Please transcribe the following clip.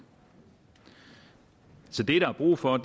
så det der er brug for